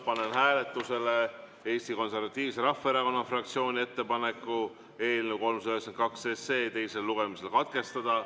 Panen hääletusele Eesti Konservatiivse Rahvaerakonna fraktsiooni ettepaneku eelnõu 392 teine lugemine katkestada.